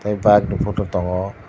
tai bike ni photo tongo.